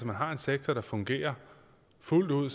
man har en sektor der fungerer fuldt ud